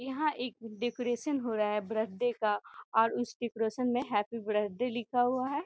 यहाँ एक डेकोरेशन हो रहा है बर्थडे का और उस डेकोरेशन में हैप्पी बर्थडे लिखा हुआ है।